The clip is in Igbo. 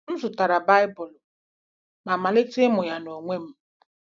M zụtara Baịbụl ma malite ịmụ ya n’onwe m.